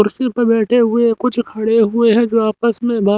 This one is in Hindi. कुर्सी पर बैठे हुए कुछ खड़े हुए है जो आपस में बात--